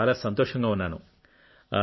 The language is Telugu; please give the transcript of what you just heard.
నేను చాలా సంతోషంగా ఉన్నాను